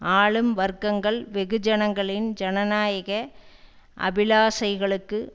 ஆளும் வர்க்கங்கள் வெகுஜனங்களின் ஜனநாயக அபிலாஷைகளுக்கு